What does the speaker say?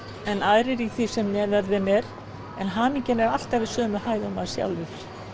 en aðrir í því sem neðan þeim er en hamingjan er alltaf í sömu hæð og maður sjálfur